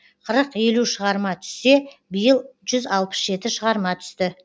қырық елу шығарма түссе биыл жүз алпыс жеті шығарма түсті